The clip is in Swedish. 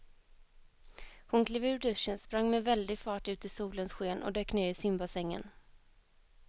Hon klev ur duschen, sprang med väldig fart ut i solens sken och dök ner i simbassängen.